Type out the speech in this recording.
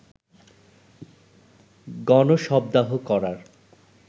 গণ-শবদাহ করার